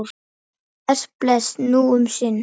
Bless, bless, nú um sinn.